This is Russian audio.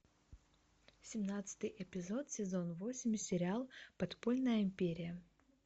семнадцатый эпизод сезон восемь сериал подпольная империя